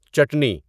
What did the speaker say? چٹنی